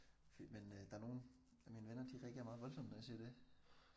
For men der er nogle af mine venner de reagerer meget voldsomt når jeg siger det